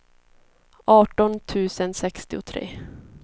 arton tusen sextiotre